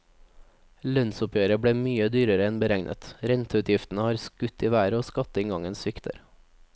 Lønnsoppgjøret ble mye dyrere enn beregnet, renteutgiftene har skutt i været og skatteinngangen svikter.